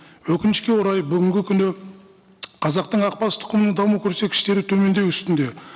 өкінішке орай бүгінгі күні қазақтың ақбас тұқымының даму көрсеткіштері төмендеу үстінде